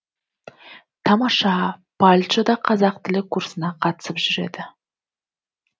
тамаша палчо да қазақ тілі курсына қатысып жүреді